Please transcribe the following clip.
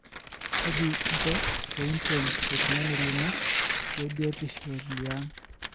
kaji ingo peinten oltogani lino lebiotisho liang?